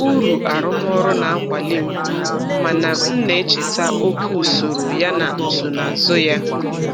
Uru arụmọrụ na-akwali m, mana m na-echeta oke usoro yana nsonaazụ ya.